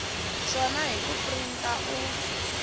swona hi ku printa u